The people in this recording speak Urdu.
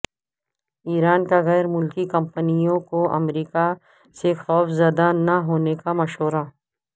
ایران کا غیر ملکی کمپنیوں کو امریکہ سے خوفزدہ نہ ہونے کا مشورہ